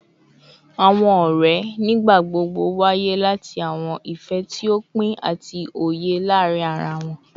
Awọn ọrẹ nigbagbogbo nwaye lati awọn ifẹ ti o pin ati oye laarin ara wọn